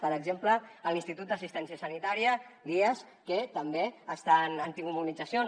per exemple l’institut d’assistència sanitària l’ias que també han tingut mobilitzacions